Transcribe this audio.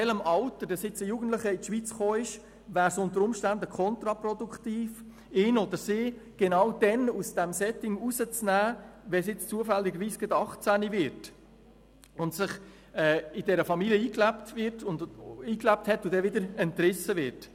Je nach Alter, in dem ein Jugendlicher in die Schweiz gekommen ist, wäre es unter Umständen kontraproduktiv, ihn oder sie genau dann aus diesem Setting herauszunehmen, wenn er oder sie zufälligerweise gerade 18 Jahre alt wird, sich in der Familie eingelebt hat und dann wieder herausgerissen wird.